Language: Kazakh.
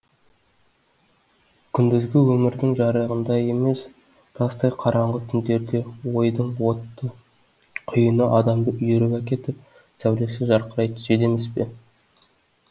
күндізгі өмірдің жарығында емес тастай қараңғы түндерде ойдың отты құйыны адамды үйіріп әкетіп сәулесі жарқырай түседі емес пе